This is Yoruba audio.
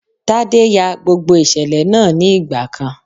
Tádé ya gbogbo ìṣẹ̀lẹ̀ náà ní ìgbà kan.